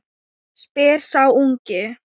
spyr sá ungi.